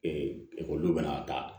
ekɔlidenw bɛna taa